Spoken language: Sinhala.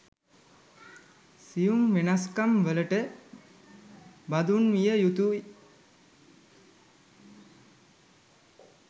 සියුම් වෙනස්කම්වලට බඳුන් විය යුතුයි